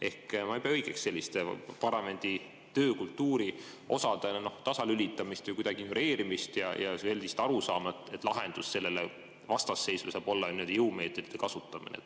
Ehk ma ei pea õigeks selliste parlamendi töökultuuri osade tasalülitamist, kuidagi ignoreerimist ja sellist arusaama, et lahendus sellele vastasseisule saab olla ainult jõumeetodite kasutamine.